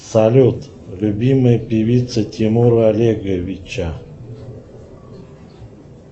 салют любимая певица тимура олеговича